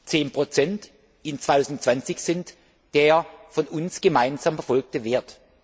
um 10 im Jahr 2020 sind der von uns gemeinsam verfolgte Wert.